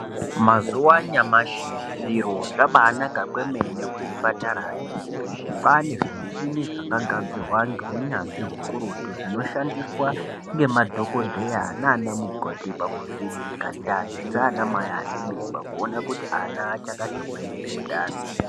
Mazuva anyamashi zviro zvaba anaka kwemene kuzvipatarayo, kwaane zvimuchini zvakagadzirwa ngeunyanzvi hukurutu zvinoshandiswa ngemadhokodheya nana mukhoti pakuvheneka ndani dzaana mai ane mimba kuona kuti ana achakati hwee ere mundani.